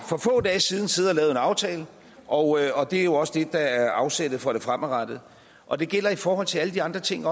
for få dage siden siddet og lavet en aftale og det er også det der er afsættet for det fremadrettede og det gælder også i forhold til alle de andre ting